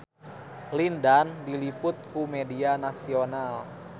Lin Dan diliput ku media nasional